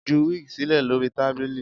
Ju wig silẹ lori tabili